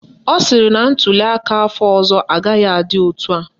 Ọ sịrị na ntuliaka afọ ọzọ agaghị adị etu a